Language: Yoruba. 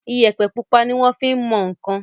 Iyẹ̀pẹ̀ pupa ni wọ́n fin mọ nǹkan.